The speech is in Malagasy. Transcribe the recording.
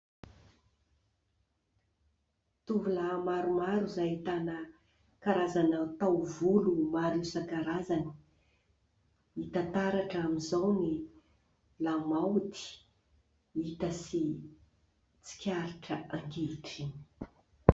Tovolahy maromaro izay ahitana karazana taovolo maro isan-karazany, hita taratra amin'izao ny lamaody hita sy tsikaritra ankehitriny.